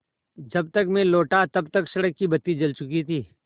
जब तक मैं लौटा तब तक सड़क की बत्ती जल चुकी थी